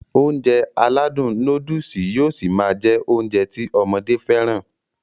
Ounjẹ aládùn nóódùsì yóó ṣi máá jẹ́ Ounjẹ ti ọmọdé fẹ́ràn